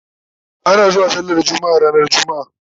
ana zuwa sallar jumma'a ranar jumma'a